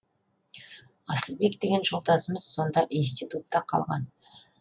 асылбек деген жолдасымыз сонда институтта қалған